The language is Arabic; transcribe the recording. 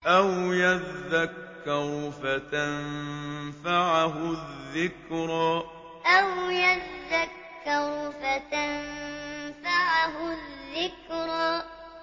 أَوْ يَذَّكَّرُ فَتَنفَعَهُ الذِّكْرَىٰ أَوْ يَذَّكَّرُ فَتَنفَعَهُ الذِّكْرَىٰ